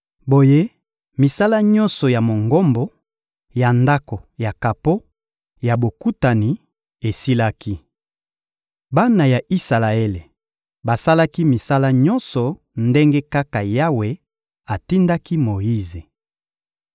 Boye misala nyonso ya Mongombo, ya Ndako ya kapo ya Bokutani, esilaki. Bana ya Isalaele basalaki misala nyonso ndenge kaka Yawe atindaki Moyize.